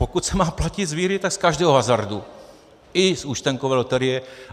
Pokud se má platit z výhry, tak z každého hazardu, i z účtenkové loterie.